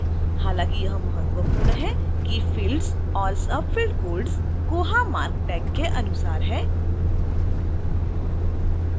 हालांकि यह महत्वपूर्ण है कि fields और subfield codes koha marc tag के अनुसार हैं